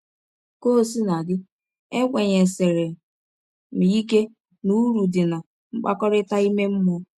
Ka ọ sina dị, ekwenyesiri m ike n’ụrụ dị ná mkpakọrịta ime mmụọ.